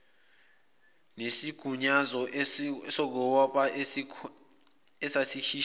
nesigunyaso sokubopha esasikhishwe